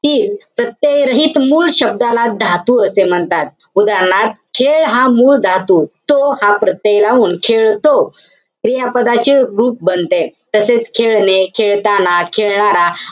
तीन प्रत्यय रहित मूळ शब्दाला धातू असे म्हणतात. उदाहरणार्थ, खेळ हा मूळ धातू, तो हा प्रत्यय लावून खेळतो, क्रियापदाचे रूप बनते. तसेच खेळणे, खेळताना, खेळणारा,